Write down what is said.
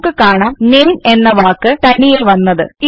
നമുക്ക് കാണാംNAMEഎന്ന വാക്ക് തനിയെ വന്നത്